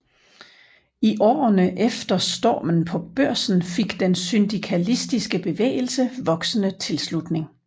I årene efter Stormen på Børsen fik den syndikalistiske bevægelse voksende tilslutning